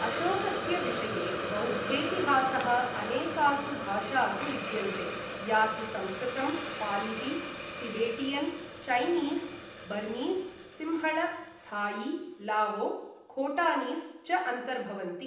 अशोकस्य विषये बौद्धेतिहासः अनेकासु भाषासु विद्यन्ते, यासु संस्कृतं, पालिः, Tibetan, Chinese, Burmese, Sinhala, Thai, लावो, खोटानीस् च अन्तर्भवन्ति।